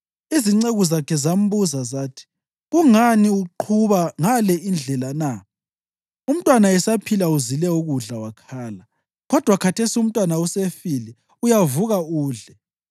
Izinceku zakhe zambuza zathi, “Kungani uqhuba ngale indlela na? Umntwana esaphila, uzile ukudla wakhala, kodwa khathesi umntwana esefile, uyavuka udle!”